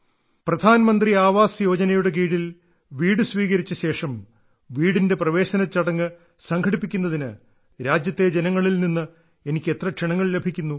പ്രധാൻ മന്ത്രി ആവാസ് യോജനയുടെ കീഴിൽ വീട് സ്വീകരിച്ച ശേഷം വീടിന്റെ പ്രവേശന ചടങ്ങ് സംഘടിപ്പിക്കുന്നതിന് രാജ്യത്തെ ജനങ്ങളിൽ നിന്ന് എനിക്ക് എത്ര ക്ഷണങ്ങൾ ലഭിക്കുന്നു